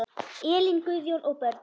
Elín, Guðjón og börn.